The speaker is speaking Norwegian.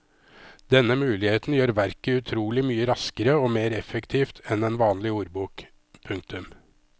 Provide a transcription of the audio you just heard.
Denne muligheten gjør verket utrolig mye raskere og mer effektivt enn en vanlig ordbok. punktum